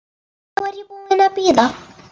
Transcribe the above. Nú er ég búin að bíða.